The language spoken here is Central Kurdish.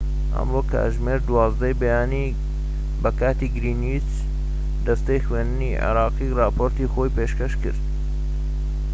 ئەمڕۆ کاتژمێر 12:00 ی بەکاتی گرێنچ دەستەی خوێندنی عێراق ڕاپۆرتی خۆی پێشکەشکرد